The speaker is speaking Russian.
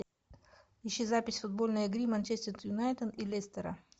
ищи запись футбольной игры манчестер юнайтед и лестера